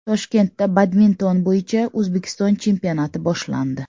Toshkentda badminton bo‘yicha O‘zbekiston chempionati boshlandi.